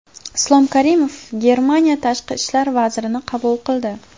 Islom Karimov Germaniya tashqi ishlar vazirini qabul qildi.